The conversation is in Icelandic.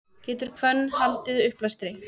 getur hvönn valdið uppblæstri